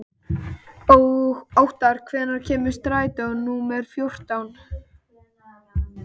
Óttar, hvenær kemur strætó númer fjórtán?